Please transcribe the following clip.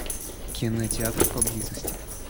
кинотеатр поблизости